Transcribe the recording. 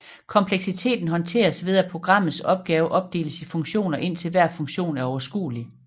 Kompleksiteten håndteres ved at programmets opgave opdeles i funktioner indtil hver funktion er overskuelig